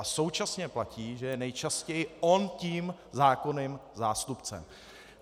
A současně platí, že je nejčastěji on tím zákonným zástupcem.